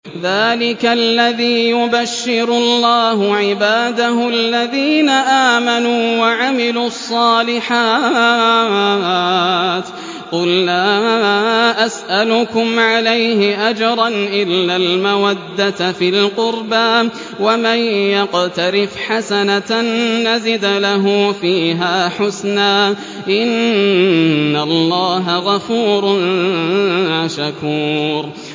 ذَٰلِكَ الَّذِي يُبَشِّرُ اللَّهُ عِبَادَهُ الَّذِينَ آمَنُوا وَعَمِلُوا الصَّالِحَاتِ ۗ قُل لَّا أَسْأَلُكُمْ عَلَيْهِ أَجْرًا إِلَّا الْمَوَدَّةَ فِي الْقُرْبَىٰ ۗ وَمَن يَقْتَرِفْ حَسَنَةً نَّزِدْ لَهُ فِيهَا حُسْنًا ۚ إِنَّ اللَّهَ غَفُورٌ شَكُورٌ